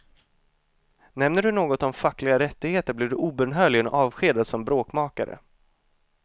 Nämner du något om fackliga rättigheter blir du obönhörligen avskedad som bråkmakare.